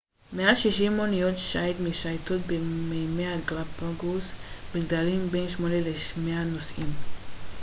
מעל 60 אוניות שייט משייטות במימי הגלפגוס בגדלים בין 8 ל-100 נוסעים